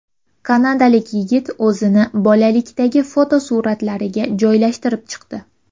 Kanadalik yigit o‘zini bolalikdagi fotosuratlariga joylashtirib chiqdi .